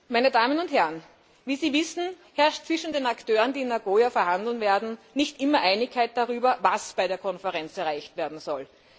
Meine Damen und Herren, wie Sie wissen, herrscht zwischen den Akteuren, die in Nagoya verhandeln werden, nicht immer Einigkeit darüber, was bei der Konferenz erreicht werden soll.